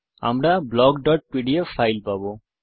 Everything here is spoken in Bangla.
আমরা blockপিডিএফ ফাইল পাবো